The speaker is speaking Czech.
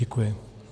Děkuji.